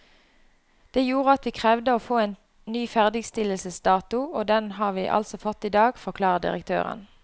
Det gjorde at vi krevde å få en ny ferdigstillelsesdato, og den har vi altså fått i dag, forklarer direktøren.